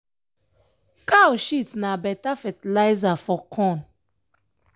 cow shit na beta fertilizer for corn.